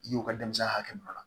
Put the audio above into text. I y'o ka denmisɛnya hakɛ min ta